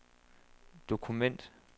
dokument